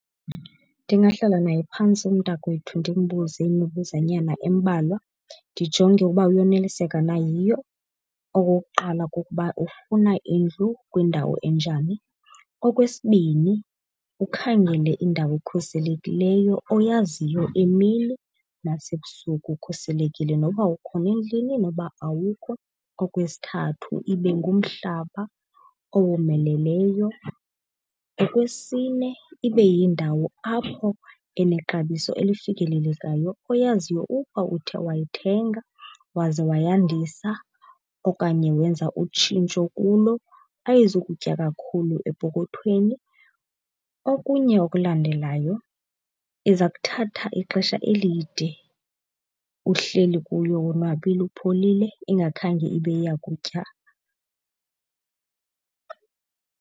Ndingahlala naye phantsi umntakwethu ndimbuze imibuzwanyana embalwa ndijonge ukuba uyoneliseka na yiyo. Okokuqala kukuba ufuna indlu kwindawo enjani. Okwesibini ukhangele indawo ekhuselekileyo oyaziyo emini nasebusuku ukhuselekile noba ukhona endlini noba awukho. Okwesithathu ibe ngumhlaba owomeleleyo. Okwesine ibe yindawo apho enexabiso elifikelelekayo oyaziyo uba uthe wayithenga waze wayandisa okanye wenza utshintsho kuyo, ayizukutya kakhulu epokothweni. Okunye okulandelayo iza kuthatha ixesha elide uhleli kuyo wonwabile upholile ingakhange ibe iya kutya.